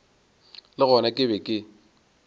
le gona ke be ke